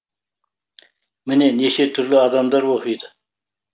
міне неше түрлі адамдар оқиды